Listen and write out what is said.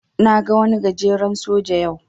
Na ga wani gajeren soja yau.